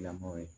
Lamɔ ye